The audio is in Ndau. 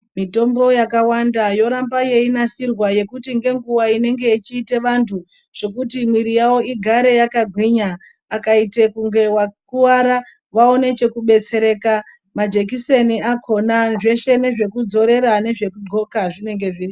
Mitombo yakawanda yoramba yeinasirwa yekuti ngenguva inenge yechiita vantu zvekuti mwiri yavo igare yakagwinya. Akaite kunge wakuvara vaone chekubetsereka. Majekiseni akhona zveshe nezvekudzorera nezvekudxoka zvinenge zviri.